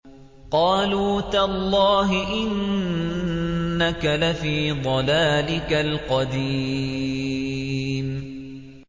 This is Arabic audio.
قَالُوا تَاللَّهِ إِنَّكَ لَفِي ضَلَالِكَ الْقَدِيمِ